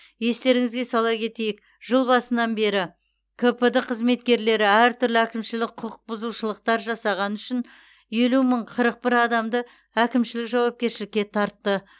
естеріңізге сала кетейік жыл басынан бері кпд қызметкерлері әртүрлі әкімшілік құқық бұзушылықтар жасағаны үшін елу мың қырық бір адамды әкімшілік жауапкершілікке тартты